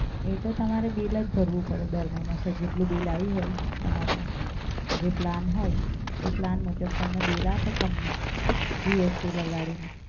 એ તો તમારે બિલ જ ભરવું પડે દર મહિને. સર જેટલું બિલ આયુ હોય તમારું, જે પ્લાન હોય એ પ્લાન મુજબ તમને બિલ આપે કંપની GST લગાડીને.